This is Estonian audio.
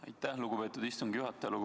Aitäh, lugupeetud istungi juhataja!